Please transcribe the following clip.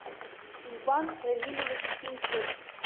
иван равильевич пинчук